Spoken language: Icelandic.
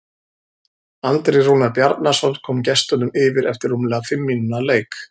Andri Rúnar Bjarnason kom gestunum yfir eftir rúmlega fimm mínútna leik.